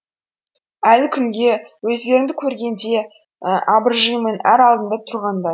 әлі күнге өздеріңді көргенде абыржимын ар алдында тұрғандай